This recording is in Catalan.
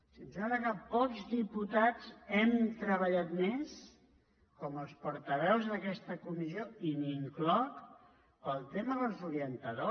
si em sembla que pocs diputats hem treballat més com els portaveus d’aquesta comissió i m’hi incloc per al tema dels orientadors